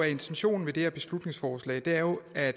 intentionen med det her beslutningsforslag er jo at